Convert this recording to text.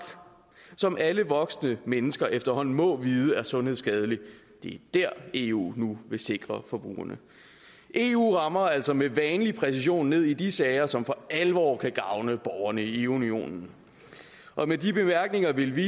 som alle voksne mennesker efterhånden må vide er sundhedsskadeligt vil eu nu sikre forbrugerne eu rammer altså med vanlig præcision ned i de sager som for alvor kan gavne borgerne i eu unionen med de bemærkninger vil vi